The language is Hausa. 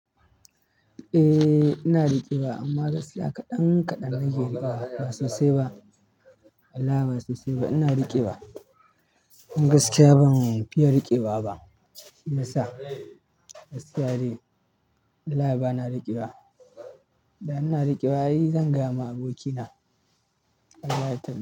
Eh ina riƙe wa amma gaskiya kaɗan kaɗan nake riƙe wa ba sosai ba. Allah ba sosai ba ina riƙe wa. Gaskiya ban fiya riƙewa ba. Me yasa? Gaskiya dai. Allah ba na riƙe wa. Da ina riƙewa zan gama abokina. Allah ya.